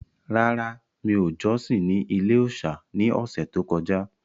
Rárá, mi ò jọ́sìn ní ilé-òòsà ní ọ̀sẹ̀ tó kọjá